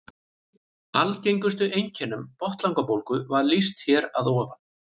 Algengustu einkennum botnlangabólgu var lýst hér að ofan.